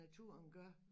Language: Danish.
Naturen gør